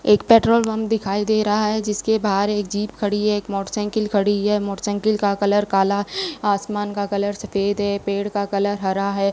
एक petrol pump दिखाई दे रहा है जिसके बाहर एक जीप खड़ी है एक मोटरसाइकिल खड़ी है मोटरसाइकिल का कलर काला आसमान का कलर सफेद है पेड़ का कलर हरा है।